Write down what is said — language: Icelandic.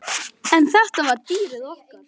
En þetta var dýrið okkar.